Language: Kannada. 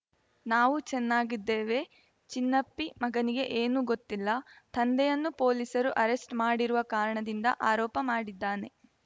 ನಾವು ಚೆನ್ನಾಗಿದ್ದೇವೆ ಚಿನ್ನಪ್ಪಿ ಮಗನಿಗೆ ಏನೂ ಗೊತ್ತಿಲ್ಲ ತಂದೆಯನ್ನು ಪೊಲೀಸರು ಅರೆಸ್ವ್‌ ಮಾಡಿರುವ ಕಾರಣದಿಂದ ಆರೋಪ ಮಾಡಿದ್ದಾನೆ